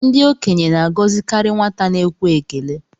Ndị okenye na-agọzikarị nwata na-ekwe ekele